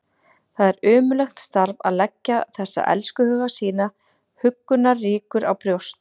Það er ömurlegt starf að leggja þessa elskhuga sína huggunarríkur á brjóst.